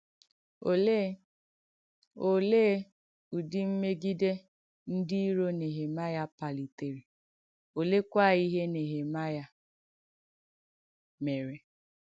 Òleè Òleè ùdì mmègìdè ndí ìrò Nèhèmàịà pàlitèrè, òlẹèkwà ìhé Nèhèmàịà mèrè?